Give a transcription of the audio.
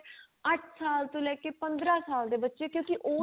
ਅਠ ਸਾਲ ਤੋਂ ਲੈ ਕੇ ਪੰਦਰਾਂ ਸਾਲ ਦੇ ਬਚੇ ਕੀ ਉਹਦੇ